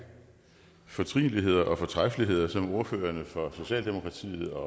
fortrinligheder og fortræffeligheder som ordførerne for socialdemokratiet og